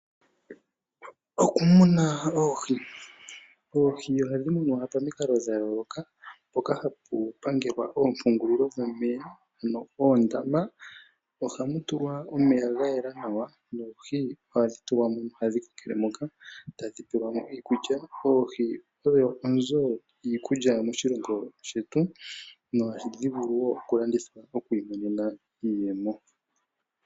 Okumuna oohi, oohi ohadhi munwa pamikalo dha yooloka mpoka hapu pangelwa oompungulilo dhomeya, oondama mono hamutulwa omeya gagwana nawa noohi ohadhi tulwa mo nokukokelamo tadhi peyelwamo iikulya. Oohi odho oonzo dhiikulya moshilongo shetu, dho ohadhivulu okulandithwa ndele omuntu tiimonenemo iiyemo.